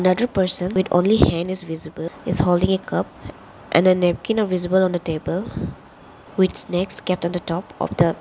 other person with only hand is visible he is holding a cup and a napkin a visible on a table with snacks kept on the top of the --